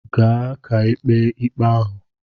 Gaa ka ekpe ikpe ahụ!